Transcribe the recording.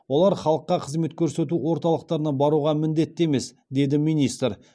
олар халыққа қызмет көрсету орталықтарына баруға міндетті емес деді министр